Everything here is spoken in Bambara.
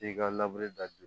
I ka da